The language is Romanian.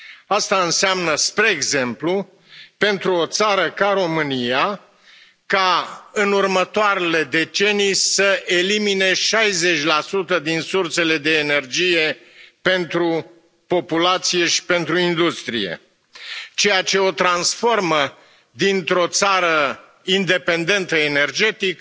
Asta înseamnă, spre exemplu, pentru o țară ca România, ca în următoarele decenii să elimine 60 din sursele de energie pentru populație și pentru industrie, ceea ce o transformă dintr o țară independentă energetic